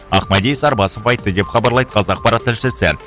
ақмәди сарбасов айтты деп хабарлайды қазақпарат тілшісі